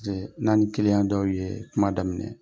n'aw ka dɔw ye kuma daminɛ